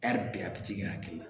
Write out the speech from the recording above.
bɛɛ a bi t'i ka hakili la